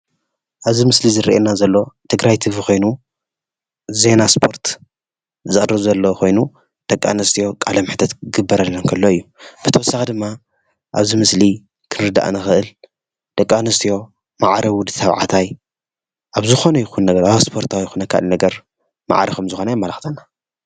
ኣብዚ ምስሊ ዝረአየና ዘሎ ትግራይ ቲቪ ኮይኑ ዜና እስፖርት ዝቀርብ ዘሎ ኮይኑ ደቂ ኣነስትዮ ቃለ መሕትት ክግበረለን እንተሎ እዩ፡፡ ብተወሳኪ ድማ ኣብዚ ምስሊ ክንርዳእ እንክእል ደቂ ኣነስትዮ ማዕረ ወዲ ተባዕተይ ኣብ ዝኮነ ይኩን ነገር ኣብ እስፖርቲ ይኩን ካልእ ነገር ማዕረ ከም ዝኮና የማላክተና፡፡